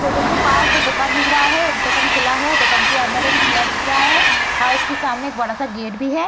Photo के पास दो दुकान दिख रहा है | एक दुकान खुला है | दुकान के अंदर एक चेयर दिख रहा है | हां उसके सामने एक बड़ा सा गेट भी है ।